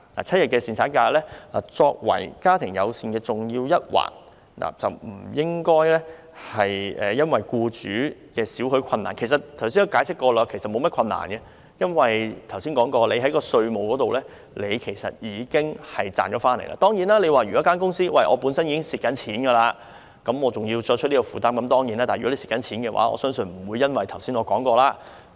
七日侍產假既為"家庭友善"的重要一環，不應因為僱主的點點困難——我剛才已解釋過他們其實並沒有大困難，因為他們已從稅務優惠方面有所得益——當然，如果公司本身已經出現虧蝕，還要再作出這方面的承擔的話，是會有困難的。